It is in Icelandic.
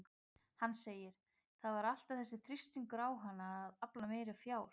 Hann segir: Það var alltaf þessi þrýstingur á hana að afla meira fjár